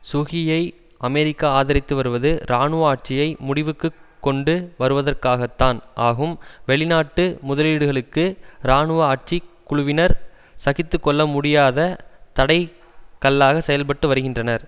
சுகியை America ஆதரித்து வருவது இராணுவ ஆட்சியை முடிவுக்கு கொண்டு வருவதற்காகத்தான் ஆகும் வெளிநாட்டு முதலீடுகளுக்கு இராணுவ ஆட்சி குழுவினர் சகித்து கொள்ள முடியாத தடைக் கல்லாக செயல்பட்டு வருகின்றனர்